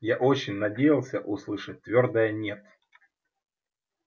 я очень надеялся услышать твёрдое нет